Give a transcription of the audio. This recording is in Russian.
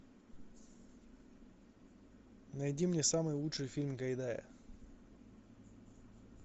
найди мне самый лучший фильм гайдая